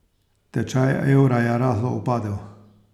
Tečaj evra je rahlo upadel.